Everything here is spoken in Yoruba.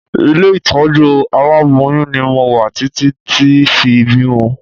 Ilé ìtọ́jú àwọn aláboyún ni mo wà títí tí fi bímọ